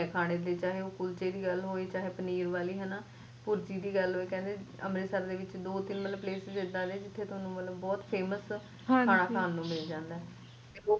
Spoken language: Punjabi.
ਖਾਣੇ ਦੀ ਚਾਹੇ ਓਹ ਕੁਲਚੇ ਦੀ ਗੱਲ ਹੋਵੇ ਚਾਹੇ ਪਨੀਰ ਵਾਲੀ ਭੁਰਜੀ ਦੀ ਗੱਲ ਹੋਵੇ ਕਹਿੰਦੇ ਅੰਮ੍ਰਿਤਸਰ ਦੇ ਵਿੱਚ ਦੋ ਤੀਨ ਮਤਲਬ place ਐਡਾ ਨੇ ਜਿਥੇ ਬਹੁਤ famous ਖ਼ਾਨਾ ਖਾਨ ਨੂੰ ਮਿਲਦਾ